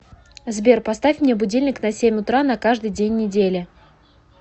сбер поставь мне будильник на семь утра на каждый день недели